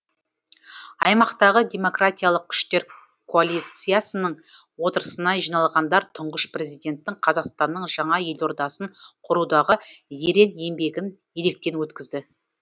аймақтағы демократиялық күштер коалициясының отырысына жиналғандар тұңғыш президенттің қазақстанның жаңа елордасын құрудағы ерен еңбегін електен өткізді